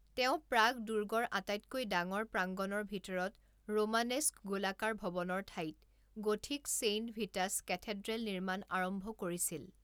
তেওঁ প্ৰাগ দুৰ্গৰ আটাইতকৈ ডাঙৰ প্ৰাংগণৰ ভিতৰত ৰোমানেস্ক গোলাকাৰ ভৱনৰ ঠাইত গথিক চেইণ্ট ভিটাছ কেথেড্ৰেল নিৰ্মাণ আৰম্ভ কৰিছিল।